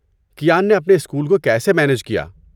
کیان نے اپنے اسکول کو کیسے مینج کیا؟